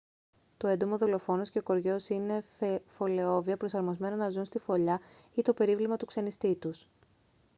το έντομο-δολοφόνος και ο κοριός είναι φωλεόβια προσαρμοσμένα να ζουν στη φωλιά ή το περίβλημα του ξενιστή τους